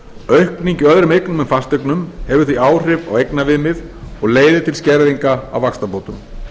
aukning í öðrum eignum en fasteignum hefur því áhrif á eignaviðmið og leiðir til skerðinga á vaxtabótum